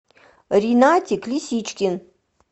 ринатик лисичкин